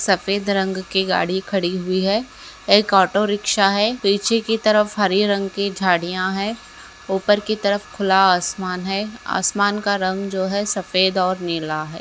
सफेद रंग की गाड़ी खड़ी हुई है एक ऑटो रिक्शा है पीछे की तरफ हरे रंग की झाड़ियां हैं ऊपर की तरफ खुला आसमान है आसमान का रंग जो है सफेद और नीला है।